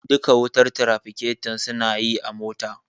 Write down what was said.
Duka wutar tirafiketo suna yi a motar